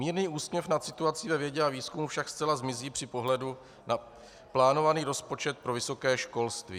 Mírný úsměv nad situací ve vědě a výzkumu však zcela zmizí při pohledu na plánovaný rozpočet pro vysoké školství.